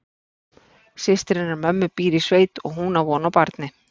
Systir hennar mömmu býr í sveit og hún á von á barni.